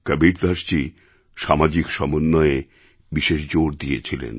কবীরদাসজী সামাজিক সমন্বয়ে বিশেষ জোর দিয়েছিলেন